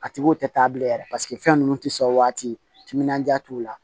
A tigiw tɛ taa bilen yɛrɛ paseke fɛn ninnu tɛ sɔn waati timinandiya t'u la